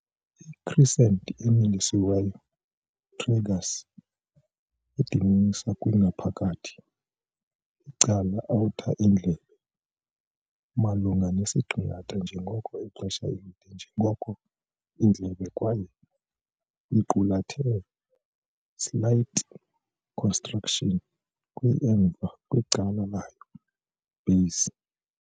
I-crescent-emilisiweyo tragus a dibanisa kwi ngaphakathi icala outer indlebe malunga nesiqingatha njengoko ixesha elide njengoko indlebe kwaye iqulathe slight constriction kwi emva kwicala layo-base.